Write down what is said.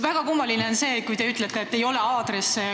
Väga kummaline oli see, kui te ütlesite, et ei ole aadresse.